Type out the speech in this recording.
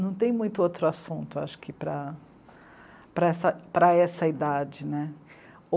Não tem muito outro assunto, acho que, para, para essa idade né.